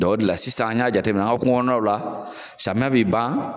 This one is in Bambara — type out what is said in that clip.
o de la sisan an y'a jateminɛ an ko kungokɔnɔnaw la samiyɛ bi ban